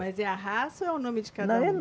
Mas é a raça ou é o nome de cada um?